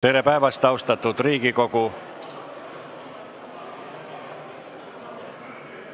Tere päevast, austatud Riigikogu!